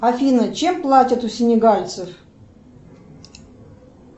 афина чем платят у сенегальцев